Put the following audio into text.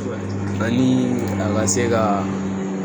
Ani a ka se ka